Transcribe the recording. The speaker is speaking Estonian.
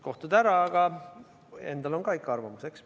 Kohtud ära, aga endal on ka ikka arvamus.